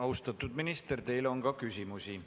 Austatud minister, teile on ka küsimusi.